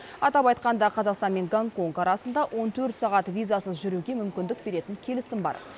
атап айтқанда қазақстан мен гонконг арасында он төрт сағат визасыз жүруге мүмкіндік беретін келісім бар